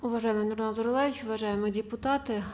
уважаемый нурлан зайроллаевич уважаемые депутаты